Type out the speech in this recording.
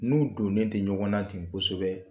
N'u donnen tɛ ɲɔgɔn na ten kosɛbɛ